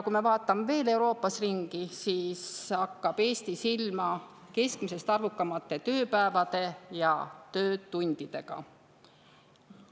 Kui me vaatame veel Euroopas ringi, siis hakkab Eesti silma keskmisest arvukamate tööpäevade ja töötundidega.